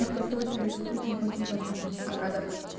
я просто очень-очень очень-очень очень-очень рада